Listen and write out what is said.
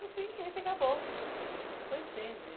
Enfim, a gente acabou se conhecendo, e